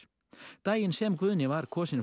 daginn sem Guðni var kosinn